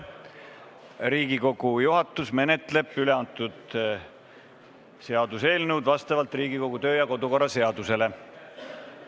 Riigikogu juhatus menetleb üle antud seaduseelnõu vastavalt Riigikogu kodu- ja töökorra seadusele.